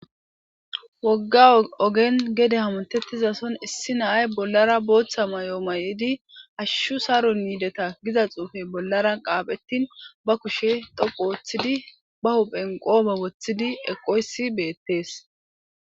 Wogga ogen gede hamuntettizason issi naay bollara booththa may'o may'idi ashshu saro miideta giza xuufey bollara qaaphettin ba kushe dhopu woththidi ba huphen qoome woththidi eqoysi beettees.